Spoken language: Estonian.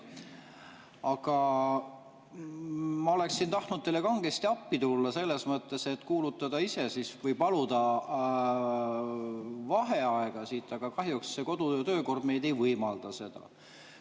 Aga ma oleksin tahtnud teile kangesti appi tulla selles mõttes, et kuulutada ise välja või paluda vaheaega, aga kahjuks kodu‑ ja töökord ei võimalda seda.